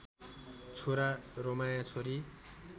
छोरा रमाया छोरी